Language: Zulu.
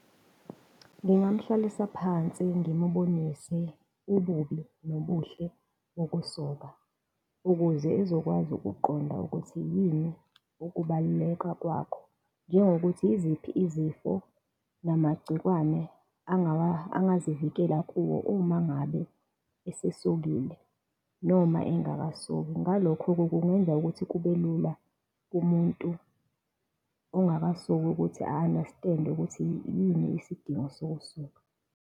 Ngingamhlalisa phansi, ngimbonise ububi, nobuhle bokusoka, ukuze ezokwazi ukuqonda ukuthi yini ukubaluleka kwakho, njengokuthi iziphi izifo namagciwane angazivikela kuwo uma ngabe esesokile, noma engakasoki. Ngalokho-ke kungenzeka ukuthi kube lula kumuntu ongakasoki ukuthi a-understand-e ukuthi yini isidingo sokusoka.